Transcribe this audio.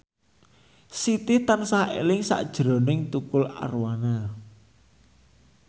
Siti tansah eling sakjroning Tukul Arwana